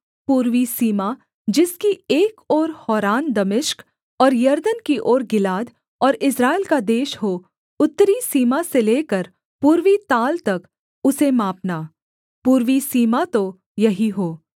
पूर्वी सीमा जिसकी एक ओर हौरान दमिश्क और यरदन की ओर गिलाद और इस्राएल का देश हो उत्तरी सीमा से लेकर पूर्वी ताल तक उसे मापना पूर्वी सीमा तो यही हो